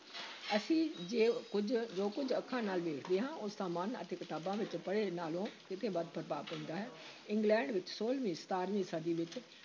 ਅਸੀਂ ਜੇ ਕੁੱਝ ਜੋ ਕੁੱਝ ਅੱਖਾਂ ਨਾਲ ਦੇਖਦੇ ਹਾਂ, ਉਸ ਦਾ ਮਨ ਅਤੇ ਕਿਤਾਬਾਂ ਵਿੱਚ ਪੜ੍ਹੇ ਨਾਲੋਂ ਕਿਤੇ ਵੱਧ ਪ੍ਰਭਾਵ ਪੈਂਦਾ ਹੈ ਇੰਗਲੈਂਡ ਵਿੱਚ ਛੋਲਵੀਂ ਸਤਾਰਵੀਂ ਸਦੀ ਵਿਚ